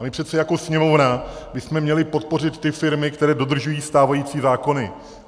A my přece jako Sněmovna bychom měli podpořit ty firmy, které dodržují stávající zákony.